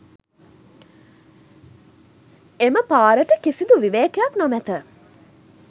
එම පාරට කිසිදු විවේකයක් නොමැත.